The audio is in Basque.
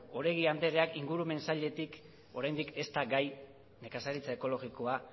oregi andreak ingurumen sailetik oraindik ez da gai nekazaritza ekologikoa